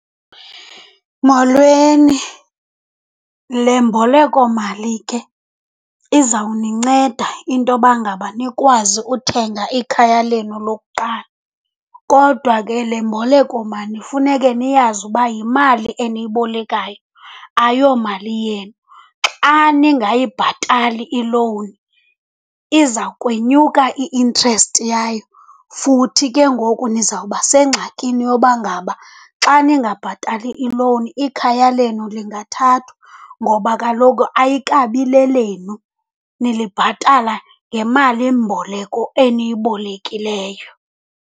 Molweni, le mbolekomali ke izawuninceda intoba ngaba nikwazi uthenga ikhaya lenu lokuqala. Kodwa ke le mbolekomali funeke niyazi uba yimali eniyibolekayo, ayomali yenu. Xa ningayibhatali ilowuni, iza kwenyuka i-interest yayo. Futhi ke ngoku nizawuba sengxakini yoba ngaba xa ningabhatali ilowuni ikhaya lenu lingathathwa ngoba kaloku ayikabi lelenu, nilibhatala ngemalimboleko eniyibolekileyo.